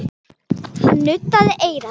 Hann nuddaði eyrað.